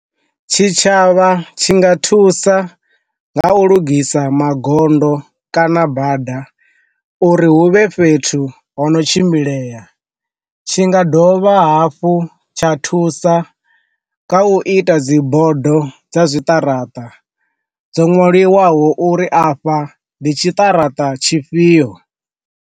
Tshi tshavha tshi nga thusa nga u lugisa magondo kana bada uri huvhe fhethu ho no tshimbilea, tshi nga dovha vha hafhu tsha thusa kha u ita dzi bodo dza zwiṱaraṱa dzo nwaliwaho uri afha ndi tshiṱaraṱa tshifhio.